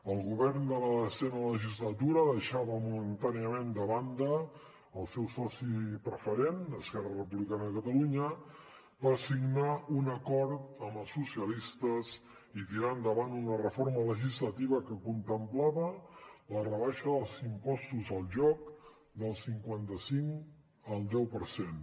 el govern de la desena legislatura deixava momentàniament de banda el seu soci preferent esquerra republicana de catalunya per signar un acord amb els socialistes i tirar endavant una reforma legislativa que contemplava la rebaixa dels impostos al joc del cinquanta cinc al deu per cent